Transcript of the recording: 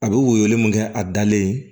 A bɛ woyo mun kɛ a dalen